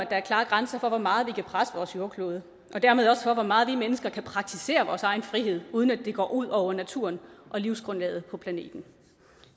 er klare grænser for hvor meget vi kan presse vores jordklode og dermed også for hvor meget vi mennesker kan praktisere vores egen frihed uden at det går ud over naturen og livsgrundlaget på planeten